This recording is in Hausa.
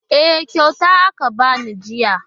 E, kyauta aka ba ni jiya.